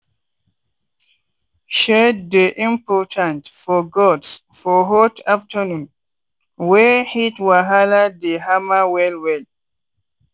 shade dey important for goats for hot afternoon wey heat wahala dey hammer well well.